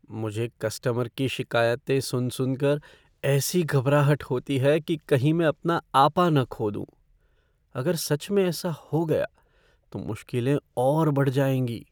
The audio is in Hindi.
मुझे कस्टमर की शिकायतें सुन सुनकर ऐसी घबराहट होती है कि कही मैं अपना आपा न खो दूँ। अगर सच में ऐसा हो गया तो मुश्किलें और बढ़ जाएँगी।